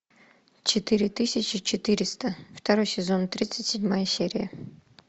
четыре тысячи четыреста второй сезон тридцать седьмая серия